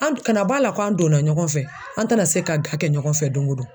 An kana b'a la k'an donna ɲɔgɔn fɛ, an tɛna se ka kɛ ɲɔgɔn fɛ don ko don.